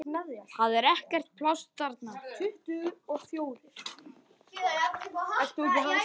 Það er ekkert pláss þar.